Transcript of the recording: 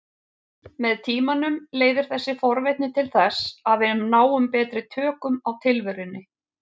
Með tímanum leiðir þessi forvitni til þess að við náum betri tökum á tilverunni.